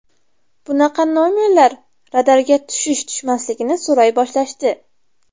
Bunaqa nomerlar radarga tushish-tushmasligini so‘ray boshlashdi.